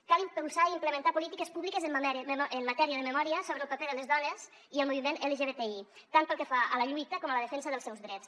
cal impulsar i implementar polítiques públiques en matèria de memòria sobre el paper de les dones i el moviment lgbti tant pel que fa a la lluita com a la defensa dels seus drets